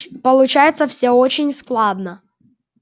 получается всё очень складно